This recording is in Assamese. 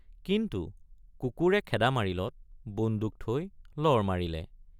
কিন্তু কুকুৰে খেদা মাৰিলত বন্দুক থৈ লৰ মাৰিলে।